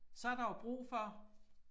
Så der jo brug for